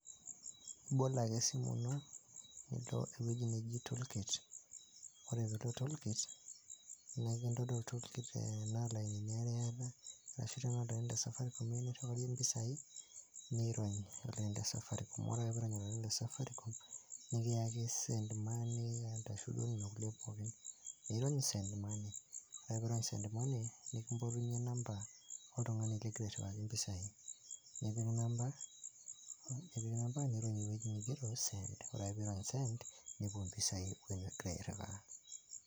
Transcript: Ibol ake sininye ewueiji neji tool kit ore piilo tool kit naa akakintodol tool kit enaa ilainini aare iata arashu tenaa olaini le Safaricom iyieu nirriwarie impisai niirony olaini le Safaricom, ore ake peyie iirony olaini le Safaricom nikiyaki send money onena kulie pookin, niirony send money ore ake piirony' send money nekimpotunyie number oltung'ani likgira airriwaki impisai nipik number niirony ewueji nigero send ore ake pee iirony' send nepuo impisai duo nigira airriwaa.